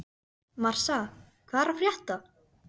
Marsa, hvað er að frétta?